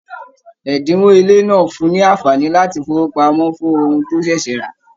Ẹdinwo ilé náà fún ní anfààní láti fowópamọ́ fún ohùn to ṣẹṣẹ ra.